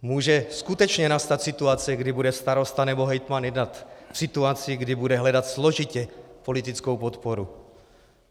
Může skutečně nastat situace, kdy bude starosta nebo hejtman jednat v situaci, kdy bude hledat složitě politickou podporu.